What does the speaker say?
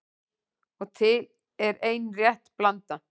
Og er til ein rétt blanda